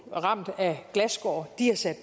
ramt af glasskår de har sat